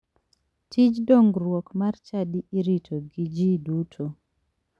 Tij dongruok mar chadi irito gi ji duto.